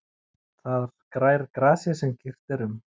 Þar grær grasið sem girt er um.